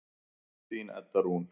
Þín Edda Rún.